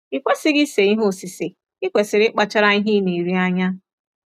I kwesịghị ise ihe osise, i kwesịrị ịkpachara ihe ị na-eri anya.